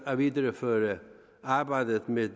at videreføre arbejdet med